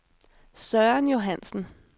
Søren Johannsen